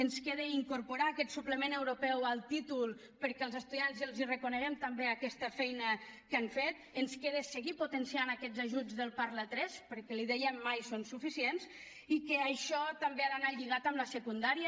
ens queda incorporar aquest suplement europeu al títol perquè als estudiants els reconeguem també aquesta feina que han fet ens queda seguir potenciant aquests ajuts del parla3 perquè l’hi deia mai són suficients i que això també ha d’anar lligat amb la secundària